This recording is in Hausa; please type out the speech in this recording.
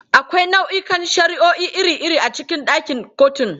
Akwai nau'ikan shari'o'i iri-iri a cikin ɗakin kotun.